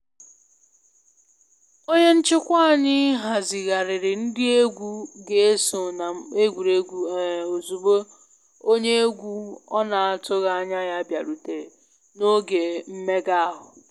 Onye nchịkwa anyị hazigharịrị ndị egwu ga eso na egwuregwu um ozugbo onye egwu ọ na atụghị anya ya bịarutere na oge mmega ahụ